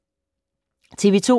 TV 2